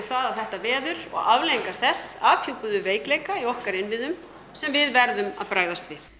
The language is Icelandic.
að þetta veður og afleiðingar þess afhjúpuðu veikleika í okkar innviðum sem við verðum að bregðast við